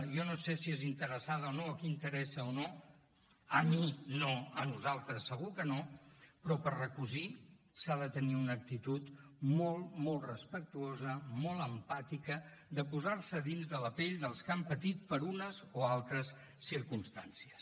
jo no sé si és interessada o no a qui interessa o no a mi no a nosaltres segur que no però per recosir s’ha de tenir una actitud molt molt respectuosa molt empàtica de posar se a dins de la pell dels que han patit per unes o altres circumstàncies